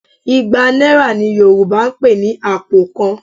Igba náírà ni Yorùbá ń pè ní àpò kan